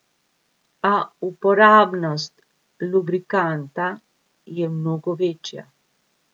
A uporabnost lubrikanta je mnogo večja.